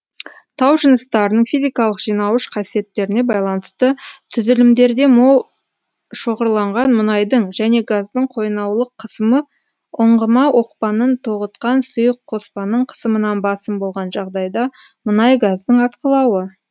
тау жыныстарының физикалық жинауыш қасиеттеріне байланысты түзілімдерде мол шоғырланған мұнайдың және газдың қойнаулық қысымы ұңғыма оқпанын тоғытқан сұйық қоспаның қысымынан басым болған жағдайда мұнай газдың атқылауы